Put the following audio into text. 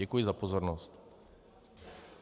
Děkuji za pozornost.